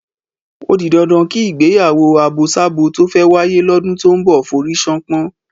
Ó di dandan kí ìgbéyàwó àbosábo tó fẹ́ wáyé lọ́dún tó ń bọ̀ forí ṣánpọ́n.